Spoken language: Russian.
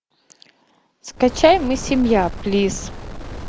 скачай мы семья плиз